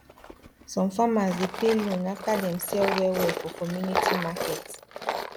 some farmers dey pay loan after dem sell well well for community market